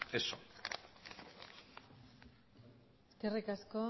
eso eskerrik asko